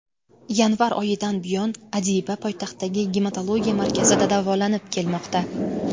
Yanvar oyidan buyon Adiba poytaxtdagi Gematologiya markazida davolanib kelmoqda.